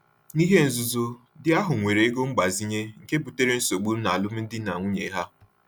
N’ihe nzuzo, di ahụ weere ego mgbazinye, nke butere nsogbu n’alụmdi na nwunye ha.